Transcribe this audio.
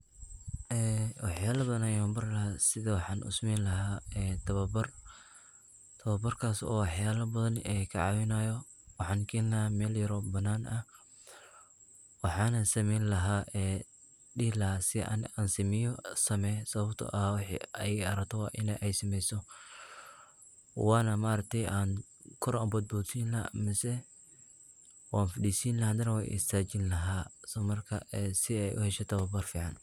Waxyalo badan ayan bari laha sida waxan usameyni laha tawabar, tawabarkas oo waxyalo badan kacawinayo, waxan keni laha waxana dihi sameya sida an aniga sameyo sawabto waxa iyaga ad rabto waina adiga sameyso wana maarssgte kkor ayan ubodbodsini laha mise wan fadisini wana istajini laha sii ey uhesho tawabar fican.